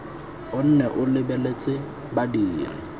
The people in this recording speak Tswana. o nne o lebeletse badiri